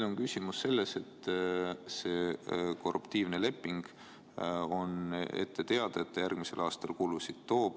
" On ette teada, et see korruptiivne leping toob järgmisel aastal kulusid.